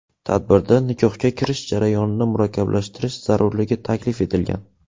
Tadbirda nikohga kirish jarayonini murakkablashtirish zarurligi taklif etilgan.